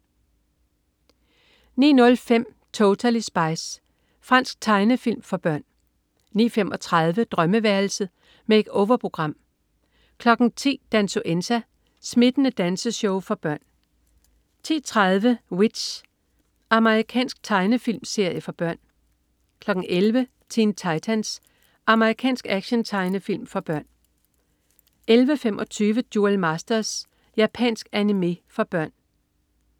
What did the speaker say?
09.05 Totally Spies. Fransk tegnefilm for børn 09.35 Drømmeværelset. Make-over-program 10.00 Dansuenza. Smittende danseshow for børn 10.30 W.i.t.c.h. Amerikansk tegnefilmserie for børn 11.00 Teen Titans. Amerikansk actiontegnefilm for børn 11.25 Duel Masters. japansk animé for børn